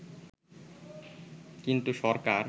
কিন্তু সরকার